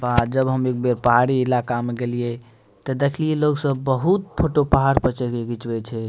वा जब हम एक बेर पहाड़ी इलाका में गेलिये ते देखलिये लोग सब बहुत फोटो पहाड़ पर चढ़ के घिचबे छै।